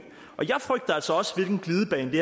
jeg frygter altså også hvilken glidebane det